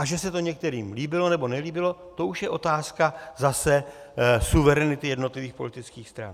A že se to některým líbilo nebo nelíbilo, to už je otázka zase suverenity jednotlivých politických stran.